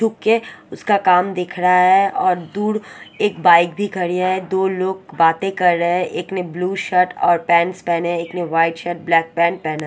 दुके उसका काम दिख रहा है और दूर एक बाइक भी खड़ी है दो लोग बातें कर रहे हैं एक ने ब्लू शर्ट और पेंट्स पहने हैं एक ने व्हाइट शर्ट ब्लैक पेंट पहना --